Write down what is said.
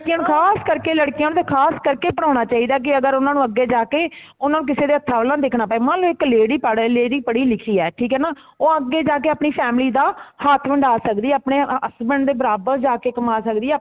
ਲੜਕੀਆਂ ਨੂੰ ਖਾਸ ਕਰਕੇ ਲੜਕੀਆਂ ਨੂੰ ਤੇ ਖਾਸ ਕਰਕੇ ਪੜਾਣਾ ਚਾਹੀਦਾ ਕੀ ਅਗਰ ਓਹਨਾ ਨੂੰ ਅਗੇ ਜਾਕੇ ਉਨ੍ਹਾਂਨੂੰ ਕਿਸੀ ਦੇ ਹੱਥਾਂ ਵਲ ਨਾ ਦੇਖਣਾ ਪਏ ਮਨਲੋ ਇੱਕ lady ਪੜ ਇੱਕ lady ਪੜੀ ਲਿੱਖੀ ਹੈ ਠੀਕ ਹੈਨਾ ਉਹ ਅਗੇ ਜਾਕੇ ਆਪਣੀ family ਦਾ ਹੱਥ ਵੰਡਾ ਸਕਦੀ ਹੈ ਆਪਣੇ husband ਦੇ ਬਰਾਬਰ ਜਾਕੇ ਕਮਾ ਸਕਦੀ ਹੈ